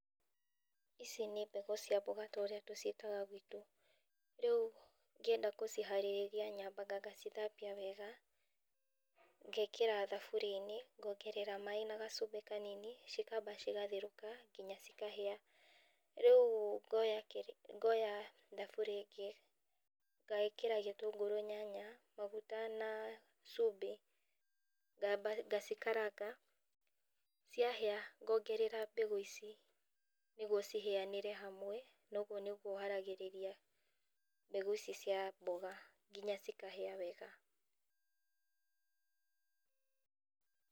Ici nĩ mbegũ cia mboga ta ũrĩa tũciĩtaga gwitũ. Ngĩenda gũciharĩrĩria nyambaga ngacithambia wega, ngekĩra thaburia-inĩ ngongerera maĩ na gacubĩ kanini cikaba cigatheruka nginya cikahĩa. Rĩu ngoya thaburia ĩngĩ ngekĩra gĩtũngũru, nyanya, magũta na cubĩ, ngamba ngacikaranga, ciahĩa ngongerera mbegu ici nĩguo cihĩanĩre hamwe. Na ũguo nĩguo haragirĩria mbegũ ici mboga nginya cikahĩa wega.